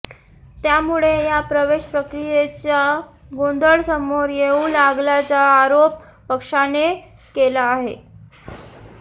त्यामुळे या प्रवेश प्रक्रियेचा गोंधळ समोर येऊ लागल्याचा आरोप पक्षाने केला आहे